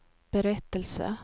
berättelse